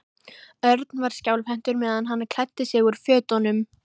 Örn var skjálfhentur meðan hann klæddi sig úr fötunum.